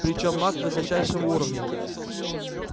причём маг высочайшего уровня